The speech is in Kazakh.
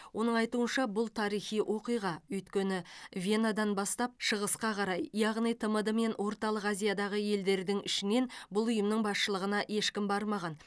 оның айтуынша бұл тарихи оқиға өйткені венадан бастап шығысқа қарай яғни тмд мен орталық азиядағы елдердің ішінен бұл ұйымның басшылығына ешкім бармаған